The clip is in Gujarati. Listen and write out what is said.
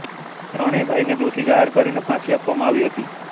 ત્રણેય ભાઈને દોષી જાહેર કરીને ફાંસી આપવામાં આવી હતી